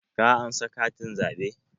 Ka ansa katin zaɓe?